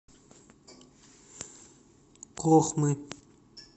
кохмы